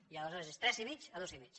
i aleshores és tres i mig a dos i mig